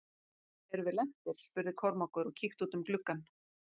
Erum við lentir spurði Kormákur og kíkti út um gluggann.